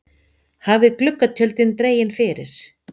Hafið gluggatjöldin dregin fyrir.